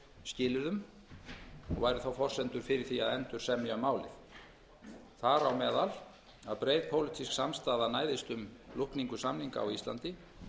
skilyrðum og væru þá forsendur fyrir því að endursemja um málið þar á meðal að breið pólitísk samstaða næðist um lúkningu samninga á íslandi